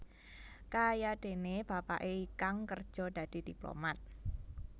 Kayadéné bapaké Ikang kerja dadi diplomat